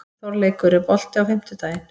Þorleikur, er bolti á fimmtudaginn?